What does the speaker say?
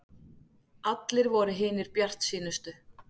Allir voru hinir bjartsýnustu.